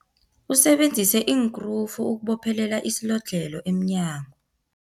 Usebenzise iinkrufu ukubophelela isilodlhelo emnyango.